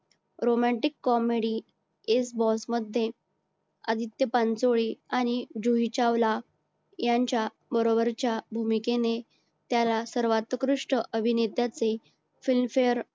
romantic comedy मध्ये आदित्य पांचोळी आणि जुही चावला यांच्या बरोबरच्या भूमिकेने त्याला सर्वात उत्कृष्ट अभिनेतातील film fare